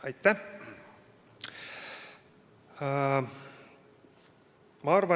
Aitäh!